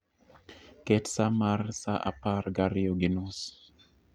Ket sa mar saa apar gariyo gi nus